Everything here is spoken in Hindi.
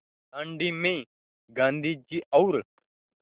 दाँडी में गाँधी जी और